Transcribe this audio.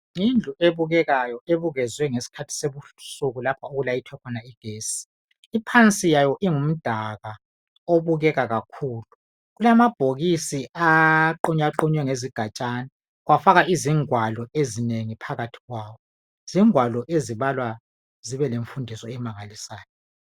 Yindlu ebukekayo ebukezwe ngesikhathi sebusuku lapha okulayithwa khona igesti iphansi yayo ingumdaka obukeka kakhulu Kalama bhokisi aqunywa qunywa ngezigajane kwafakwa izigwalo ezinengi phakathi kwawo zingwalo ezibalwazibe lemfundiso emangalisayo